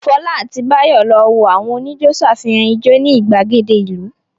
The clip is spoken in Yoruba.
Fọlá àti Báyọ̀ lọ wo àwọn oníjó ṣàfihàn ijó ní ìgbàgede ìlú.